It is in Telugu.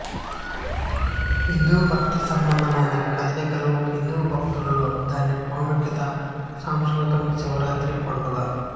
హిందూ భక్తిసంబంధమైన కదలికలు హిందూ భక్తుడులో దీని ప్రాముఖ్యత సాంస్కృతికం శివరాత్రి పండుగ